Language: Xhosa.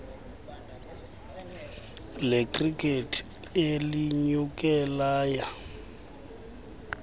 lekhrikethi elinyuke laya